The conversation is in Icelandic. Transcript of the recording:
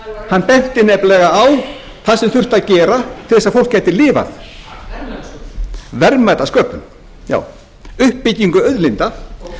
hann benti nefnilega á það sem þurfti að gera til þess að fólk gæti lifað verðmætasköpun verðmætasköpun já uppbyggingu auðlinda og ég vil